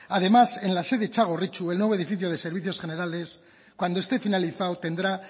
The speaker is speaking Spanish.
además en la sede de txagorritxu el nuevo edificio de servicios generales cuando esté finalizado tendrá